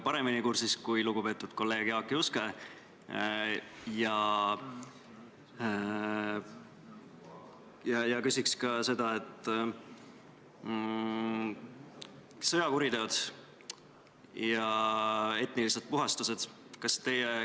Hääletustulemused Poolt hääletas 89 Riigikogu liiget, vastuolijaid ja erapooletuid ei ole.